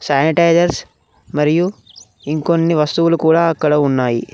Sanitizers మరియు ఇంకొన్ని వస్తువులు కూడా అక్కడ ఉన్నాయి.